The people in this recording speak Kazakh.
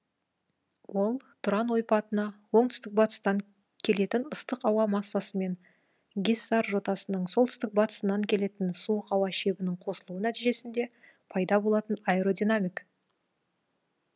ол тұран ойпатына оңтүстік батыстан келетін ыстық ауа массасы мен гиссар жотасының солтүстік батысынан келетін суық ауа шебінің қосылуы нәтижесінде пайда болатын аэродинамик